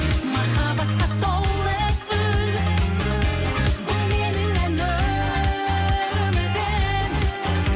махаббатқа толы үн бұл менің ән өмірім